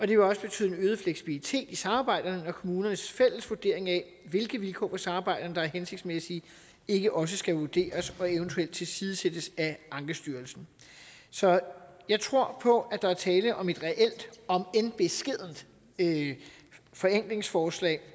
det vil også betyde en øget fleksibilitet i samarbejdet når kommunernes fælles vurdering af hvilke vilkår for samarbejdet der er hensigtsmæssige ikke også skal vurderes og eventuelt tilsidesættes af ankestyrelsen så jeg tror på at der er tale om et reelt om end beskedent forenklingsforslag